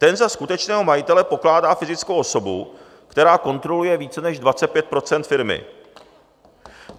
Ten za skutečného majitele pokládá fyzickou osobu, která kontroluje více než 25 % firmy.